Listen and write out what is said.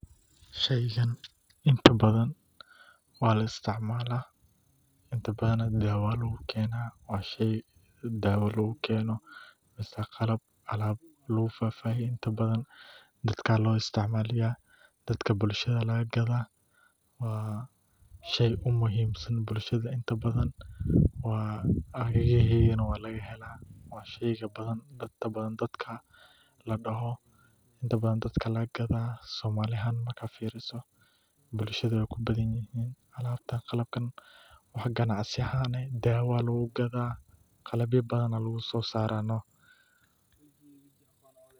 Sheygan inta badan waa la isticmaala daawa ayaa lagu keena, inta badan dadka bulshada ayaa laga gadaa, inta badan dadka ayaa laga gadaa, bulshada waay ku badan yihiin, qalabyo ayaa laga soo saara.